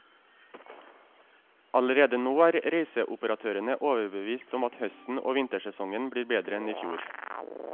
Allerede nå er reiseoperatørene overbevist om at høsten og vintersesongen blir bedre enn i fjor.